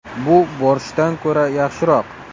Bu borshchdan ko‘ra yaxshiroq.